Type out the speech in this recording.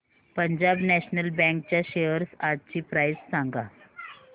Punjab national bank च्या shares आजची price सांगा